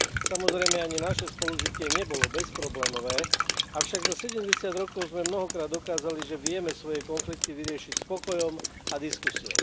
Samozrejme, ani naše spolužitie nebolo bezproblémové, avšak za 70 rokov sme mnohokrát dokázali, že vieme svoje konflikty vyriešiť s pokojom a diskusiou.